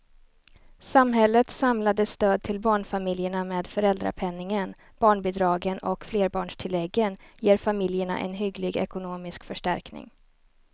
Samhällets samlade stöd till barnfamiljerna med föräldrapenningen, barnbidragen och flerbarnstilläggen ger familjerna en hygglig ekonomisk förstärkning.